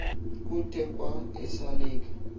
kuthe kwa esalika